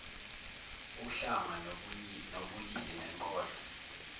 uhlanga nobulili nenkolo